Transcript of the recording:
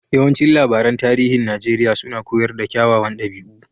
Yawancin labaran tarihin Najeriya suna koyar da kyawawan dabi'u.